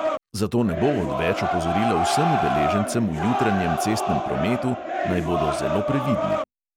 Zato ne bo odveč opozorilo vsem udeležencem v jutranjem cestnem prometu, naj bodo zelo previdni.